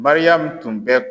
Mariyamu tun bɛ